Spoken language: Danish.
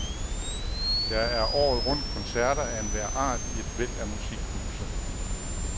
Der er året rundt koncerter af enhver art i et væld af musikhuse.